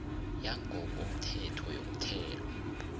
yangokomthetho yomthelo